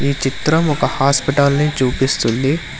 ఈ చిత్రం ఒక హాస్పిటల్ ని చూపిస్తుంది.